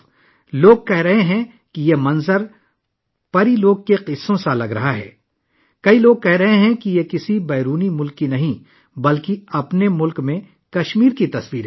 لوگ کہہ رہے ہیں کہ یہ منظر پریوں کی کہانی لگتا ہے! بہت سے لوگ کہہ رہے ہیں کہ یہ کسی بیرونی ملک کی نہیں، ہمارے اپنے ملک کے کشمیر کی تصویریں ہیں